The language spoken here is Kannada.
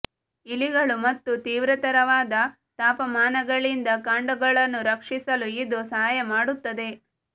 ಇಲಿಗಳು ಮತ್ತು ತೀವ್ರತರವಾದ ತಾಪಮಾನಗಳಿಂದ ಕಾಂಡಗಳನ್ನು ರಕ್ಷಿಸಲು ಇದು ಸಹಾಯ ಮಾಡುತ್ತದೆ